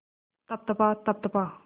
तप तपा तप तपा